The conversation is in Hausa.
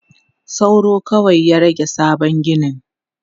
Sauro kawai ya rage sabon ginin.